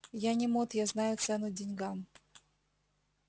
я не мот я знаю цену деньгам